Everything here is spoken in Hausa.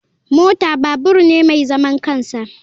Mota babur ne mai zaman kansa.